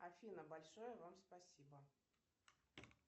афина большое вам спасибо